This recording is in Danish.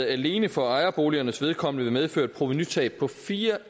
alene for ejerboligernes vedkommende vil medføre et provenutab på fire